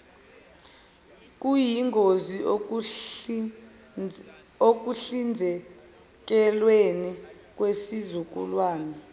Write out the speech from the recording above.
kuyingozi ekuhlinzekelweni kwesizukulwane